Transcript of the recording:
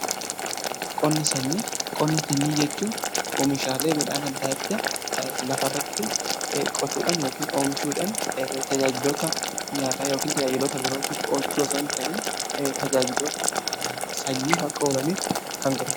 qonna sanyii jechuun oomishaalee midhaan adda addaa lafarratti qotuudhan yookiin oomishuudhan tajaajilota nyaataa yookiin tajaajilota birootiif oolchu osoo hin ta'in tajaajiloota sanyiif akka oolaniif kan gargaarudha.